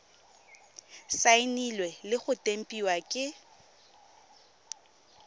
saenilwe le go tempiwa ke